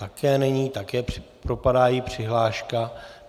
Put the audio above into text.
Také není, také propadá její přihláška.